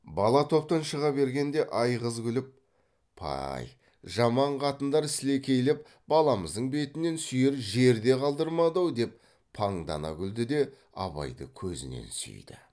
бала топтан шыға бергенде айғыз күліп пай жаман қатындар сілекейлеп баламыздың бетінен сүйер жер де қалдырмады ау деп паңдана күлді де абайды көзінен сүйді